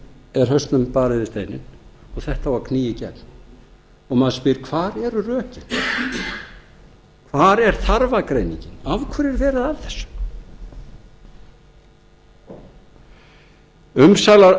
er hausnum barið við steininn og þetta á að knýja í gegn og maður spyr hvar eru rökin hvar er þarfagreiningin af hverju er verið að þessu